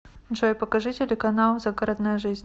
джой покажи телеканал загородная жизнь